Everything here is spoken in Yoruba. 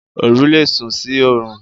Oru lé sú sí orùn